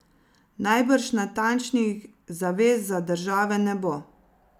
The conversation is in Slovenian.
Najbrž natančnih zavez za države ne bo.